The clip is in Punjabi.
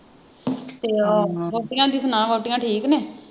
ਤੇ ਹੋਰ ਵੋਟੀਆਂ ਦੀ ਸੁਣਾ ਵੋਟੀਆਂ ਠੀਕ ਨੇ